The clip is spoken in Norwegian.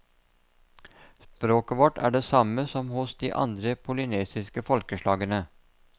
Språket vårt er det samme som hos de andre polynesiske folkeslagene.